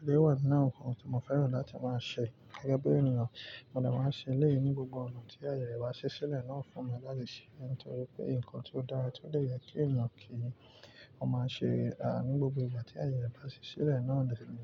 èléyi wà ninu awon ǹkan tí mo fẹ́ràn láti máa ṣe gẹ́gẹ́ bí ènìyàn, mo dè máa ṣe lẹ́yìn ní gbogbo ọ̀nà tí ayẹyre ba ṣí sílẹ̀ náà fún mi láti ṣe é, nítorí pé ǹkan tí ó dára tí ó de yẹ kí ènìyàn kí í, ó máa ṣe ní gbogbo ìgbà tí ayẹre bá ṣí sílẹ̀ náà de ní.